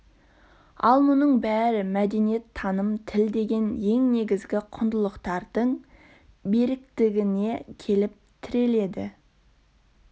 ал мұның бәрі мәдениет таным тіл деген ең негізгі құндылықтардың беріктігіне келіп тіреледі